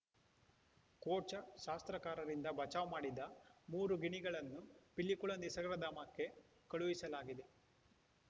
ಕೋಚಾ ಶಾಸ್ತ್ರಕಾರರಿಂದ ಬಚಾವ್‌ ಮಾಡಿದ ಮೂರು ಗಿಣಿಗಳನ್ನು ಪಿಲಿಕುಳ ನಿಸರ್ಗಧಾಮಕ್ಕೆ ಕಳುಹಿಸಲಾಗಿದೆ